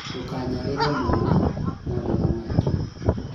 ndũkanyarire mwana mwarĩ wa maitũ